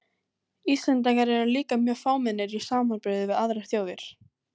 Íslendingar eru líka mjög fámennir í samanburði við aðrar þjóðir.